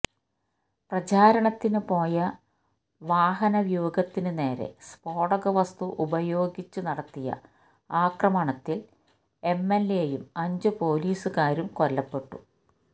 പ്രചാരണത്തിന് പോയ വാഹനവ്യൂഹത്തിന് നേരെ സ്ഫോടകവസ്തു ഉപയോഗിച്ച് നടത്തിയ ആക്രമണത്തില് എംഎല്എയും അഞ്ച് പോലീസുകാരും കൊല്ലപ്പെട്ടു